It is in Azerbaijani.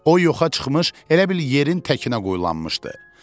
O yoxa çıxmış, elə bil yerin təkinə qoyulanmışdı.